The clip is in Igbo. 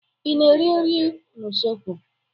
I na-esi nri n'usekwu?